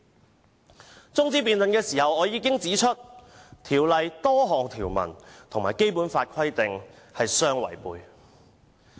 在中止待續議案的辯論中我已指出，《條例草案》多項條文與《基本法》的規定相違背。